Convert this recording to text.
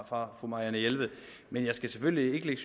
fra fru marianne jelved men jeg skal selvfølgelig ikke